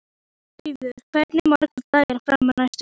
Eyfríður, hversu margir dagar fram að næsta fríi?